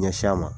Ɲɛsin a ma